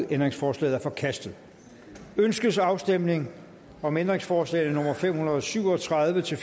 ændringsforslaget er forkastet ønskes afstemning om ændringsforslag nummer fem hundrede og syv og tredive til